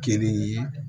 Kelen ye